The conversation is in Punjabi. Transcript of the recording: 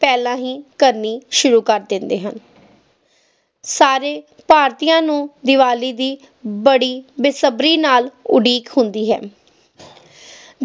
ਪਹਿਲਾਂ ਹੀ ਕਰਨੀ ਸ਼ੁਰੂ ਕਰ ਦਿੰਦੇ ਹਨ ਸਾਰੇ ਭਾਰਤੀਆਂ ਨੂੰ ਦੀਵਾਲੀ ਦੀ ਬੜੀ ਬੇਸਬਰੀ ਨਾਲ ਉਡੀਕ ਹੁੰਦੀ ਹੈ